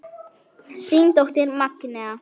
Þín dóttir Magnea.